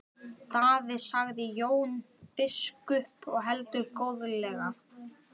Daði, sagði Jón biskup og heldur góðlega.